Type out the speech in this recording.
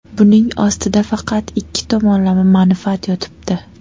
Buning ostida faqat ikki tomonlama manfaat yotibdi.